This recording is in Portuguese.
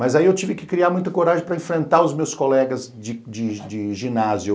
Mas aí eu tive que criar muita coragem para enfrentar os meus colegas de de de ginásio.